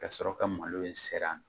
Ka sɔrɔ ka malo in ser'a